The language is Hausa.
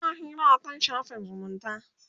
ana Hira akan shafin zumunta